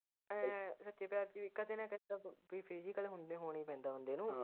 ਏ ਸੱਚੇ ਪਿਆਰ ਦੀ ਕਦੇ ਨਾ ਕਦੇ physical ਹੁੰਦੇ ਹੋਣਾ ਈ ਪੈਂਦਾ ਬੰਦੇ ਨੂੰ।